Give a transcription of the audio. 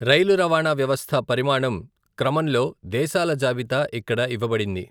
రైలు రవాణా వ్యవస్థ పరిమాణం క్రమంలో దేశాల జాబితా ఇక్కడ ఇవ్వబడింది.